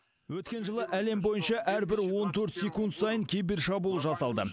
өткен жылы әлем бойынша әрбір он төрт секунд сайын кибершабуыл жасалды